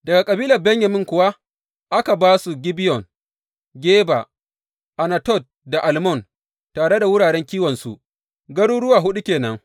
Daga kabilar Benyamin kuwa aka ba su, Gibeyon, Geba, Anatot da Almon, tare da wuraren kiwonsu, garuruwa huɗu ke nan.